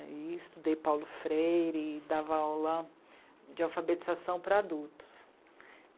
Aí estudei Paulo Freire e dava aula de alfabetização para adultos.